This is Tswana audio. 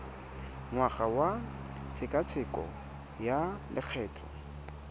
ngwaga wa tshekatsheko ya lokgetho